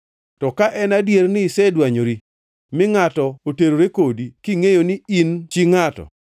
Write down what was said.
To ka en adier ni isedwanyori, mi ngʼato oterore kodi, kingʼeyo ni in chi ngʼato,”